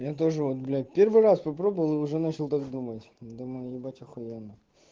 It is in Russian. я тоже вот блять первый раз попробовал и уже начал так думать думаю ебать ахуенно